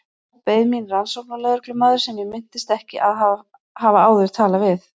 Þar beið mín rannsóknarlögreglumaður sem ég minntist ekki að hafa áður talað við.